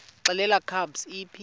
xelel kabs iphi